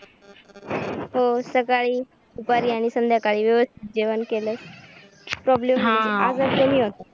हो सकाळी दुपारी आणि संध्याकाळी व्यवस्थित जेवण केलं problem येत नाही हा आजारी पण नाही होतात